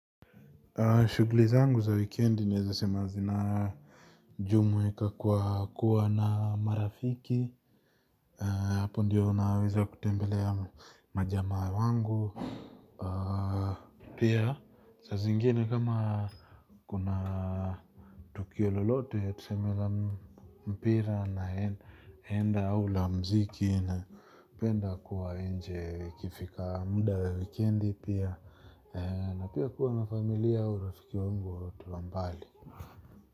Shughuli zangu za wikendi naeza sema zina jumuika kwa kuwa na marafiki, hapo ndiyo naweza kutembelea majamaa wangu, pia sa zingine kama kuna tukio lolote ya tuseme la mpira na enda au la mziki napenda kuwa nje ikifika muda wa wikendi pia, na pia kuwa na familia au rafiki wangu watu wa mbali.